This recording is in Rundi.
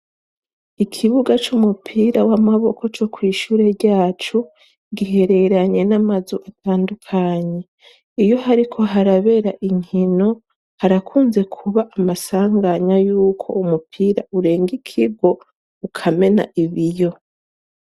Ikibuga c'umupira w'amaboko co kw'ishure ryacu gihereranye n'amazu atandukanye iyo hariko harabera inkino. Harakunze kuba amasanganya yuko umupira urenga ikigo, ukamena ibiyo.